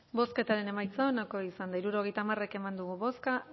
bozketaren emaitza onako izan da hirurogeita hamar eman dugu bozka